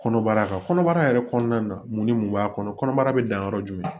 Kɔnɔbara ka kɔnɔbara yɛrɛ kɔnɔna na mun ni mun b'a kɔnɔbara bɛ dan yɔrɔ jumɛn